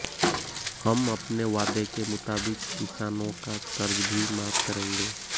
हम अपने वादे के मुताबिक किसानों का कर्ज भी माफ करेंगे